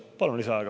Palun lisaaega.